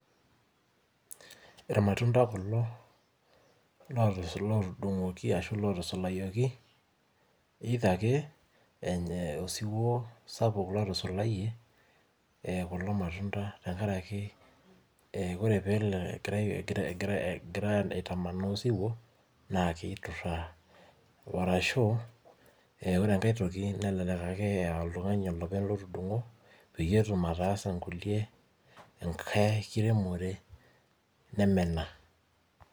Irmatunda kulo lootusu lootudug'oki ashu lootusulayieki, either ake ee osiwuo sapuk lotusulayie ee kulo matunda tenkaraki ee ore peelo egirai egira aitamanaa osiwuo naake ituraa. Arashu ee ore enkae toki nelelek ake aa oltung'ani olopeny otudung'o peyie etum aatasa nkulie enkae kiremore neme ena.